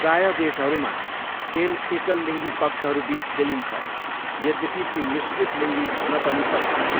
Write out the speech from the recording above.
प्राय देशहरूमा, खेल एकल लिङ्गी पक्षहरू बिच खेलिन्छ, यद्यपि ती मिश्रित लिङ्गी हुन पनि सक्छन्।